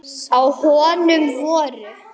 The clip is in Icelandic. Á honum voru